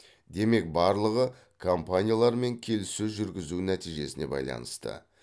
демек барлығы компаниялармен келіссөз жүргізу нәтижесіне байланысты